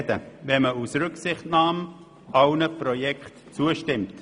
Ich mache mir Sorgen, wenn man aus Rücksichtnahme allen Projekten zustimmt.